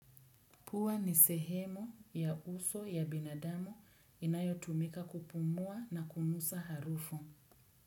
Pua ni sehemu ya uso ya binadamu inayotumika kupumua na kunusa harufu.